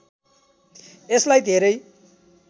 यसलाई धेरै